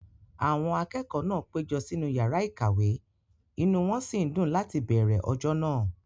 Àwọn akẹ́kọ̀ọ́ náà péjọ sínú yàrá ìkàwé, inú wón sì ń dùn láti bẹ̀ẹ̀rẹ̀ ọjọ́ náà